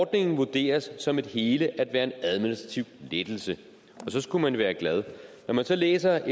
ordningen vurderes som et hele at være en administrativ lettelse og så skulle man jo være glad når man så læser